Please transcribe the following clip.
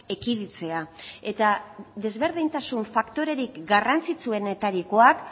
ekiditea eta ezberdintasun faktorerik garrantzitsuenetarikoak